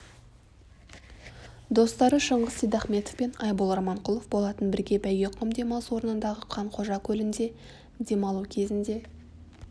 достары шыңғыс сейдахметов пен айбол романқұлов болатын бірге бәйгеқұм демалыс орнындағы қанқожа көлінде демалу кезінде